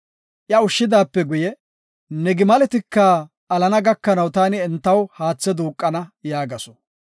Iya ushshidaape guye, “Ne gimaletika alana gakanaw taani entaw haatha duuqana” yaagasu.